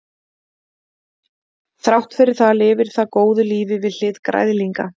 þrátt fyrir það lifir það góðu lífi við hlið græðlinga